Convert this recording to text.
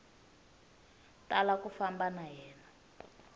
tala ku famba na yena